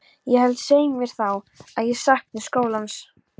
Ég held, svei mér þá, að ég sakni skólans.